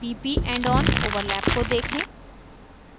pp endon overlap को देखें